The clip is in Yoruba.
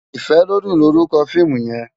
Ifelodun lórúkò fiimú yèn